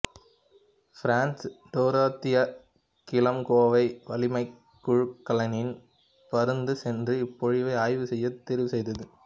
France Dorothea கிள்ம்கேவை வளிமக் குமிழிக்கலனில் பறந்து சென்று இப்பொழிவை ஆய்வு செய்ய தேர்வி செய்தது